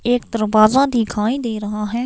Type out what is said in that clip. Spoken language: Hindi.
एक दरवाजा दिखाई दे रहा है।